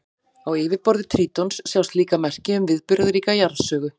Á yfirborði Trítons sjást líka merki um viðburðaríka jarðsögu.